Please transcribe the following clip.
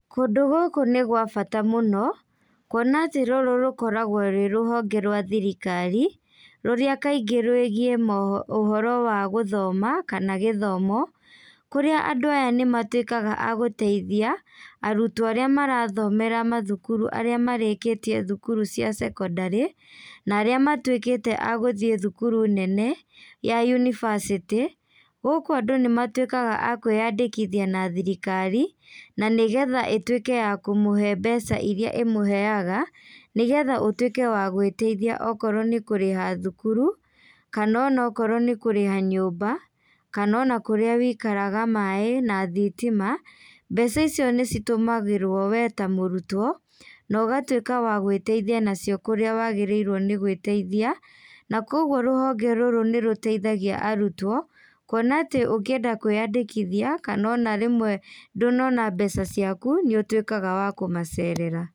Kũndũ gũkũ nĩ gwa bata mũno, kuona atĩ rũrũ rũkoragwo rwĩ rũhonge rwa thirikari, rũrĩa kaingĩ rũĩgiĩ ũhoro wa gũthoma, kana gĩthomo, kũrĩa andũ aya nĩmatuĩkaga a gũteithia, arutwo arĩa marathomera mathukuru arĩa marĩkĩtie thukuru cia secondary, na arĩa matuĩkĩte a gũthiĩ thukuru nene, ya university, gũkũ andũ nĩmatuĩkaga a kwĩyandĩkithia na thirikari, na nĩgetha ĩtuĩke ya kũmũhe mbeca iria ĩmũheaga, nĩgetha ũtuĩke wa gwĩteithia okorwo nĩ kũrĩha thukuru, kana onakorwo nĩ kũrĩha nyumba, kana ona kũrĩa wĩikaraga maĩ na thitima, mbeca icio nĩcitũmagĩrwo we ta mũrutwo, na ũgatuĩka wa gwĩtethia nacio kũrĩa wagĩrĩirwo nĩ gwĩteithia, na koguo rũhonge rũrũ nĩrũteithagia arutwo, kuona atĩ ũngĩenda kwĩyandĩkĩthia kana ona rĩmwe ndũnona mbeca ciaku, nĩũtuĩkaga wa kũmacerera.